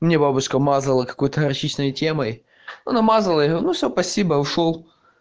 мне бабушка мазала какой-то горчичной темой ну намазала я все спасибо ушёл